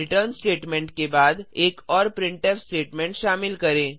return statement के बाद एक और प्रिंटफ स्टेटमेंट शामिल करें